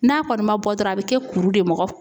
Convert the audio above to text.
N'a kɔni man bɔ dɔrɔn a bɛ kɛ kuru de ye